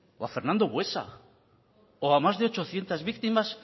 o a fernando buesa o a más de ochocientos víctimas